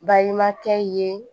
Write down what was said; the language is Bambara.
Balimakɛ ye